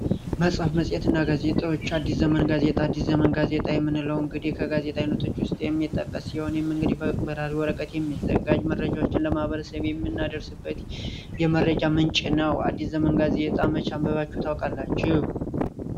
መጽሐፍ መጽሄትና ጋዜጣዎች አዲስ ዘመን ጋዜጣ የምንለው እንግዲህ ከጋዜጣ ዓይነቶች ውስጥ አንዱ ሲሆን ይህም እንግዲህ በበራሪ ወረቀት የሚዘጋጅ አዳዲስ ዜናዎችን የምናደርስበት የመረጃ ምንጭ ነው። አዲስ ዘመን ጋዜጣ መቼ አንብባችሁ ታውቃላችሁ?